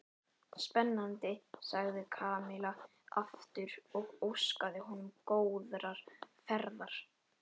Spennandi sagði Kamilla aftur og óskaði honum góðrar ferðar.